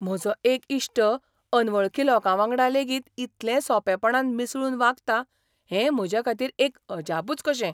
म्हजो एक इश्ट अनवळखी लोकावांगडा लेगीत इतलें सोंपेपणान मिसळून वागता, हें म्हजेखातीर एक अजापुच कशें.